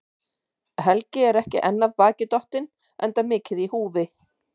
Helgi er ekki enn af baki dottinn, enda mikið í húfi.